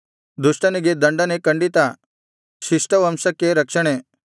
ದುಷ್ಟನಿಗೆ ದಂಡನೆ ಖಂಡಿತ ಶಿಷ್ಟವಂಶಕ್ಕೆ ರಕ್ಷಣೆ